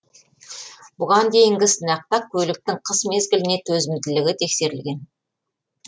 бұған дейінгі сынақта көліктің қыс мезгіліне төзімділігі тексерілген